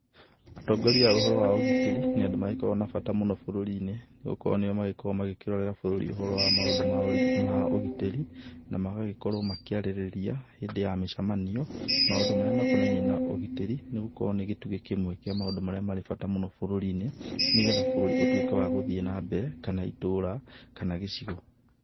Atongoria a ũhoro wa ũgitĩri nĩ andũ magĩkoragwo na bata mũno bũrũri-inĩ nĩ gũkorwo nĩo magĩkoragwo makĩrorera bũrũri ũhoro wa maũndũ ma ũgitĩri, na magagĩkorwo makĩarĩrĩria hĩndĩ ya mĩcamanio, maũndũ marĩa makonainiĩ na ũgitĩri, nĩ gũkorwo nĩ gĩtugĩ kĩmwe kĩa maũndũ marĩa marĩ bata mũno bũrũri-inĩ, nĩgetha bũrũri ũtuĩke wa gũthiĩ na mbere kana itũra kana gĩcigo.